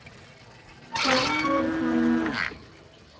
Hvað gerir hann næst?